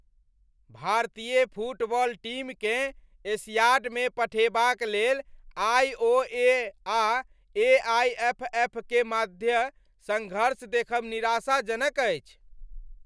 भारतीय फुटबॉल टीमकेँ एशियाडमे पठेबाक लेल आइ.ओ.ए. आ ए.आइ.एफ.एफ.क. मध्य संघर्ष देखब निराशाजनक अछि।